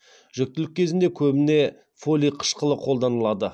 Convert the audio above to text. жүктілік кезінде көбіне фолий қышқылы қолданылады